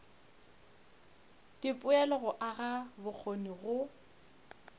dipoelo go aga bokgoni go